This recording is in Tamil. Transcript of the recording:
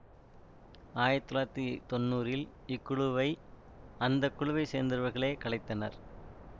ஆயிரத்தி தொள்ளாயிரத்தி தொன்னூறில் இக்குழுவை அந்த குழுவை சேர்ந்தவர்களே கலைத்தனர்